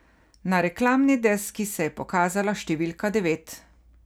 Na reklamni deski se je pokazala številka devet.